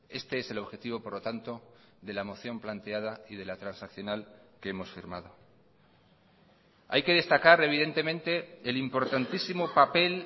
este es el objetivo por lo tanto de la moción planteada y de la transaccional que hemos firmado hay que destacar evidentemente el importantísimo papel